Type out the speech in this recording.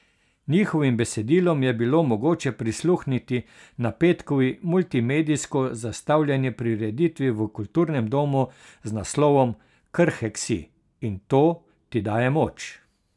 Njihovim besedilom je bilo mogoče prisluhniti na petkovi multimedijsko zastavljeni prireditvi v kulturnem domu z naslovom Krhek si, in to ti daje moč.